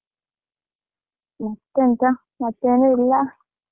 ಮತ್ತೆಂತ ಮತ್ತೆ ಏನು ಇಲ್ಲ.